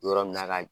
Yɔrɔ min na ka